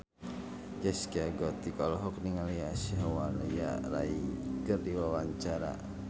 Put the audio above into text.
Zaskia Gotik olohok ningali Aishwarya Rai keur diwawancara